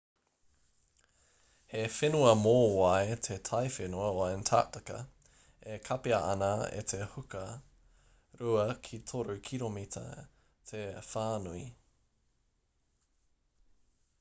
he whenua mōwai te taiwhenua o antarctica e kapia ana e te huka 2-3 kiromita te whānui